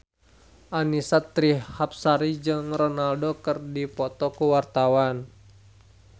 Annisa Trihapsari jeung Ronaldo keur dipoto ku wartawan